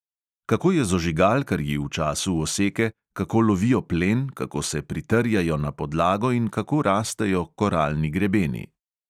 Kako je z ožigalkarji v času oseke, kako lovijo plen, kako se pritrjajo na podlago in kako rastejo koralni grebeni?